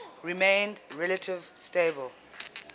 remained relatively stable